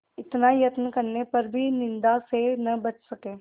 इतना यत्न करने पर भी निंदा से न बच सके